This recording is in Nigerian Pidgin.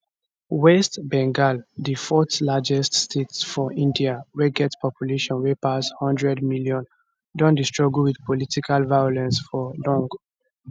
west bengal di fourthlargest state for india wey get population wey pass one hundred million don dey struggle wit political violence for long